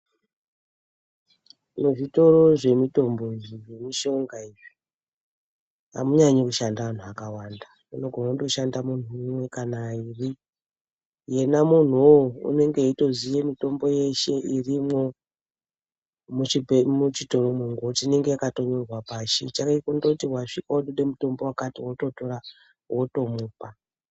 Tine zvitoro zvemitombo iyi zvemushonga. Izvi amunyanyi kushande anhu akawanda ,munogone kutoshanda munhu umwe kana airi .Yena munhu uwowo unenge eitoziye mitombo yeshe irimwo muchibhe muchitoromwo ngonuti inenge yakatonyorwa pashi ,chake kundoti wasvika unode mutombo wakati ototora, wotomupa.